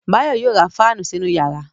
Báyọ̀ ma ra fáànù sínú yàrá